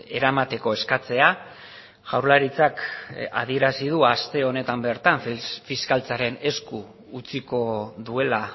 eramateko eskatzea jaurlaritzak adierazi du aste honetan bertan fiskaltzaren esku utziko duela